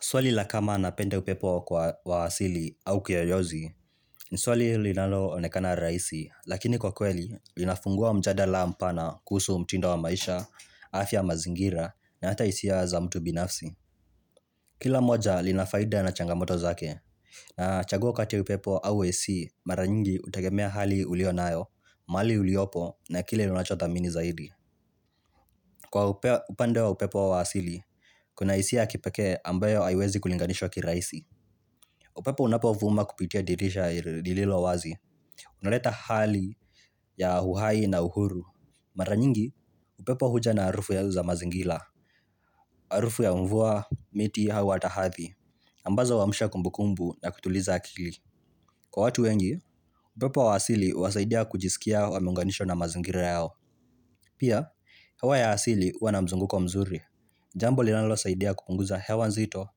Swali la kama napende upepo kwa wasili au kiyoyozi, ni swali linalo onekana raihisi, lakini kwa kweli, linafungua mjada mpana kusu mtindo wa maisha, afya mazingira, na hata hisia za mtu binafsi. Kila moja linafaida na changamoto zake, na chaguo kati upepo hauwesi maranyingi utagemea hali ulionayo, mali uliopo na kile lunachota mini zaidi. Kwa upande wa upepo wa wasili, kuna isia kipeke ambayo haiwezi kulinganisho kiraisi. Upepo unapovuma kupitia dirisha lililo wazi. Unaleta hali ya uhai na uhuru. Mara nyingi, upepo huja na harufu ya uza mazingila. Harufu ya mvua miti hawa hata hathi. Ambazo huamsha kumbukumbu na kutuliza akili. Kwa watu wengi, upepo wa asili wasaidia kujisikia wa munganisho na mazingila yao. Pia, hewa ya asili huwa na mzunguko mzuri. Jambo li nalo saidia kupunguza hewa nzito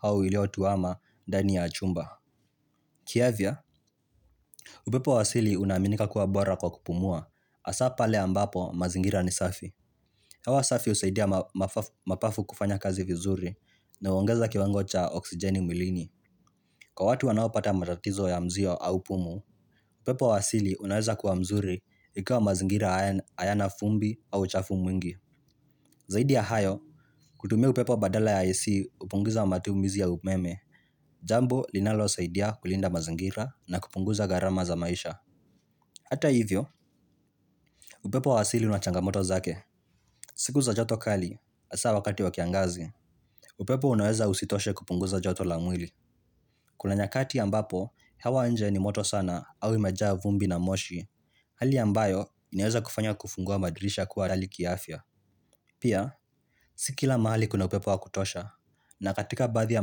au ilio tuama ndani ya chumba. Kiavia, upepo wasili unaminika kuwa bora kwa kupumua Asa pale ambapo mazingira ni safi Hawa safi usaidia mapafu kufanya kazi vizuri na uangeza kiwango cha oksijeni milini Kwa watu wanaopata matatizo ya mzio au pumu upepo wa asili unaweza kuwa mzuri Ikiwa mazingira hayana fumbi au chafu mwingi Zaidia ya hayo, kutumia upepo badala ya ISI upungiza matumizi ya umeme Jambo linalo saidia kulinda mazingira na kupunguza garama za maisha Hata hivyo, upepo wa asili unachangamoto zake. Siku za joto kali, asa wakati wakiangazi, upepo unoeza usitoshe kupunguza joto la mwili. Kuna nyakati ambapo, hewa nje ni moto sana au imejaa vumbi na moshi, hali ambayo inaweza kufanya kufungua madirisha kuwa rali kiafia. Pia, si kila mahali kuna upepo wa kutosha, na katika baathi ya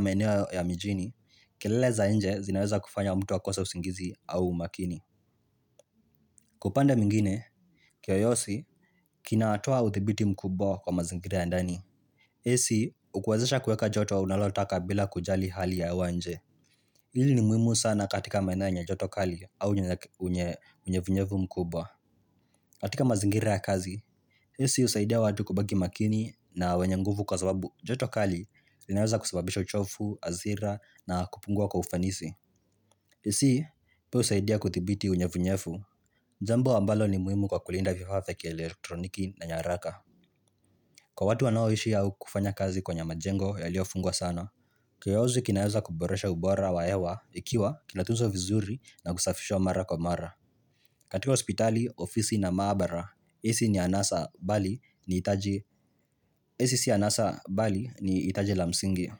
maeneo ya mijini, kelele za nje zinaweza kufanya mtu wa kosa usingizi au makini. Kwa upandae mwingine, kiyoyosi, kinatoa uthibiti mkubwa kwa mazingira ya ndani. Hisi, ukuwazesha kueka joto wa unalotaka bila kujali hali ya ewanje Hili ni muhimu sana katika maeneo yenye joto kali au unyevunyevu mkubwa, katika mazingire ya kazi, hisi husaidia watu kubaki makini na wenye nguvu kwa sababu joto kali linaweza kusababisha uchofu, azira na kupungua kwa ufanisi hisi, peo usaidia kutibiti unyevunyefu Nzambo ambalo ni muhimu kwa kulinda vifafa vya elektroniki na nyaraka Kwa watu wanao ishi ya ukufanya kazi kwenye majengo ya liofungwa sana Kiyozi kinaweza kuboresha ubora wa hewa Ikiwa kinatunzwa vizuri na kusafishwa mara kwa mara katika hospitali, ofisi na maabara AC ni anasa bali ni itaje AC si anasa bali ni itaje la msingi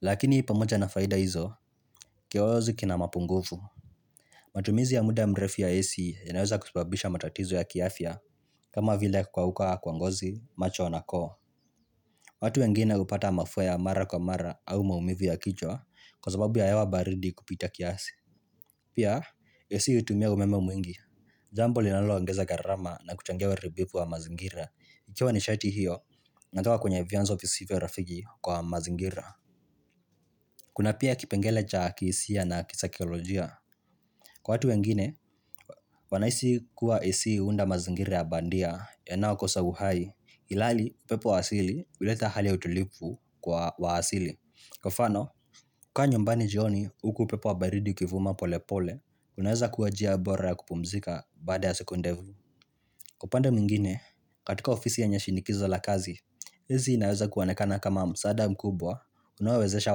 Lakini pamoja na faida hizo Kiyozi kina mapungufu matumizi ya muda mrefi ya AC Yanayoza kusubabisha matatizo ya kiafya kama vile kukauka kwa ngozi, macho na koo watu wengine hupata mafua mara kwa mara au maumivu ya kichwa Kwasababu ya hewa baridi kupita kiasi Pia, AC hutumia umeme mwingi Jambo linaloongeza garama na kuchangia uharibifuu wa mazingira Ikiwa ni sharti hiyo, na ngawa kwenye vianzo visive rafigi kwa mazingira Kuna pia kipengele cha kisi ya na kisaikolojia Kwa watu wengine, wanahisi kuwa ECU hunda mazingira ya bandia yanao kosa uhai ilali pepo wasili uleta hali ya utulipu kwa wasili kwa mfano kukaa nyumbani jioni uku pepo wa baridi ukivuma pole pole unaweza kuwa njia bora ya kupumzika bada ya siku ndevu kwa upande mwingine katika ofisi ya nyashinikiza la kazi hizi inaweza kuwanekana kama msada mkubwa unaowezesha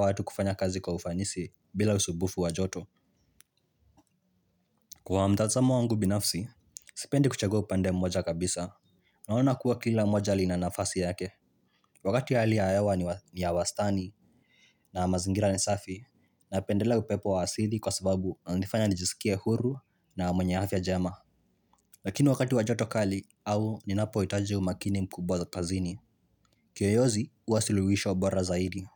watu kufanya kazi kwa ufanisi bila usubufu wajoto kwa mtazamo wangu binafsi sipendi kuchagua kupande mmoja kabisa naona kuwa kila mmoja linanafasi yake Wakati ya hali ya hewa ni ya wastani na mazingira ni safi na pendela upepo wa asidhi kwa sababu na nifanya nijisikia huru na mwenyafia jema. Lakini wakati wajoto kali au ni napo itaju makini mkubwa kazini. Kiyoyozi uwasiluwisho bora zaidi.